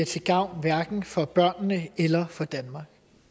til gavn for børnene eller for danmark